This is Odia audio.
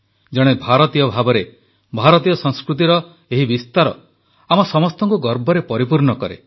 ଜଣେ ଭାରତୀୟ ଭାବରେ ଭାରତୀୟ ସଂସ୍କୃତିର ଏହି ବିସ୍ତାର ଆମ ସମସ୍ତଙ୍କୁ ଗର୍ବରେ ପରିପୂର୍ଣ୍ଣ କରେ